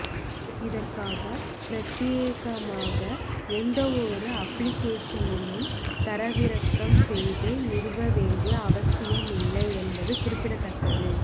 இதற்காக பிரத்தியேகமாக எந்வொரு அப்பிளிக்கேஷனையும் தரவிறக்கம் செய்து நிறுவ வேண்டிய அவசியம் இல்லை என்பது குறிப்பிடத்தக்கது